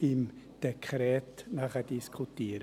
des Dekrets diskutieren.